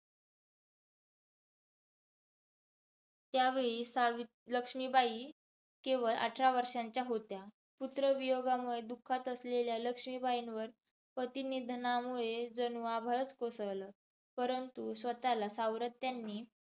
त्या वेळीस सावी लक्ष्मीबाई केवळ अठरा वर्षांच्या होत्या. पुत्रवियोगामुळे दुःखात असलेल्या लक्ष्मीबाईंवर पतीनिधनामुळे जणू आभाळच कोसळले. परंतु स्वतःला सावरत त्यांनी